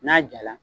N'a jala